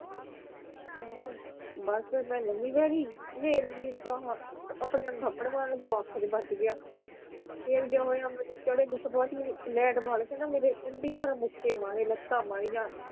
ਬਸ ਮੈ ਲੰਮੀ ਪੈ ਗਈ ਫਿਰ ਵੀ ਤਾ ਆਪਣੇ ਆਪ ਥੱਪੜ ਮਾਰਨ ਲਗੀ ਉਹ ਅੱਖ ਚ ਵੱਜ ਗਿਆ ਫਿਰ ਕਿਆ ਹੋਇਆ ਮੈਨੂੰ ਚੜੇ ਗੁੱਸਾ ਬਾਅਦ ਚ ਮੈਨੂੰ ਲੈੱਟ ਫੜ ਕਾ ਨਾ ਮੇਰੇ ਕਿਡੀ ਜ਼ੋਰ ਨਾਲ ਮੇਰੇ ਮੁੱਕੇ ਮਾਰੇ ਲੱਤਾਂ ਮਾਰੀਆ।